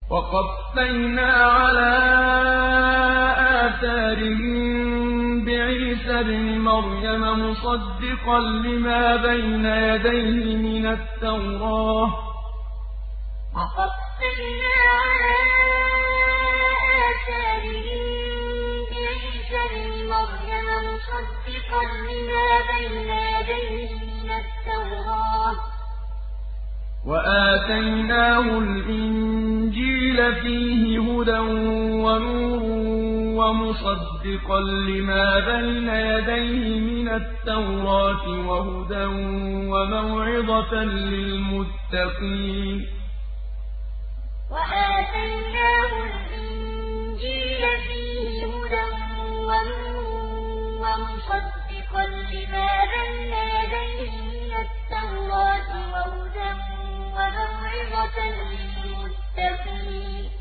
وَقَفَّيْنَا عَلَىٰ آثَارِهِم بِعِيسَى ابْنِ مَرْيَمَ مُصَدِّقًا لِّمَا بَيْنَ يَدَيْهِ مِنَ التَّوْرَاةِ ۖ وَآتَيْنَاهُ الْإِنجِيلَ فِيهِ هُدًى وَنُورٌ وَمُصَدِّقًا لِّمَا بَيْنَ يَدَيْهِ مِنَ التَّوْرَاةِ وَهُدًى وَمَوْعِظَةً لِّلْمُتَّقِينَ وَقَفَّيْنَا عَلَىٰ آثَارِهِم بِعِيسَى ابْنِ مَرْيَمَ مُصَدِّقًا لِّمَا بَيْنَ يَدَيْهِ مِنَ التَّوْرَاةِ ۖ وَآتَيْنَاهُ الْإِنجِيلَ فِيهِ هُدًى وَنُورٌ وَمُصَدِّقًا لِّمَا بَيْنَ يَدَيْهِ مِنَ التَّوْرَاةِ وَهُدًى وَمَوْعِظَةً لِّلْمُتَّقِينَ